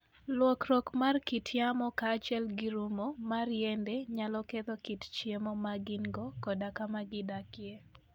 Lokruok mar kit yamo kaachiel gi rumo mar yiende nyalo ketho kit chiemo ma gin - go koda kama gidakie.